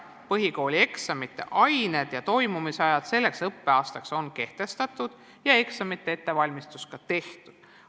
Põhikoolieksamite ained ja toimumise ajad on selleks õppeaastaks juba kehtestatud ja eksamite ettevalmistused ka tehtud.